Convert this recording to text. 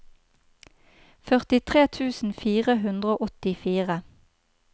førtitre tusen fire hundre og åttifire